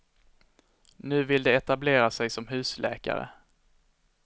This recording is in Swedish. Nu vill de etablera sig som husläkare.